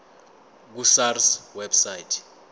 ku sars website